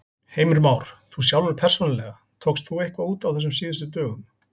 Heimir Már: Þú sjálfur persónulega, tókst þú eitthvað út á þessum síðustu dögum?